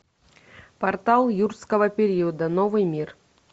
портал юрского периода новый мир